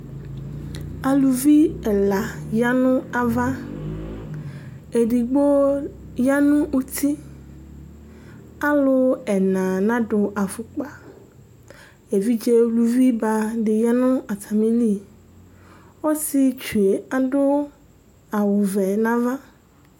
Alʋvi ɛla yanʋ ava, ɛdigbo yanʋ ʋti Alu ɛna nadu afʋkpa Evidze ʋlʋvi ba di yanʋ atamìli Ɔsiɛtsu ye adu awu vɛ nʋ ava